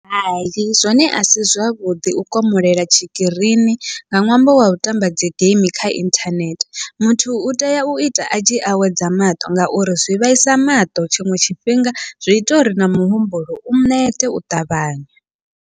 Hai zwone asi zwavhuḓi u komolela tshikirini nga ṅwambo wau tamba dzi geimi kha inthanethe, muthu utea uita atshi awedza maṱo ngauri zwi vhaisa maṱo tshiṅwe tshifhinga zwi ita uri na muhumbulo u nete u ṱavhanya.